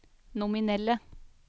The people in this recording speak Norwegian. nominelle